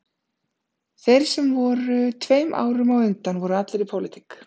Þeir sem voru tveim árum á undan voru allir í pólitík